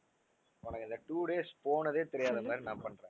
உனக்கு அந்த two days போனதே தெரியாத மாதிரி நான் பண்ணுறேன்